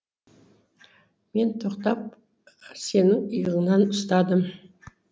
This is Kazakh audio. мен тоқтап сенің иығыңнан ұстадым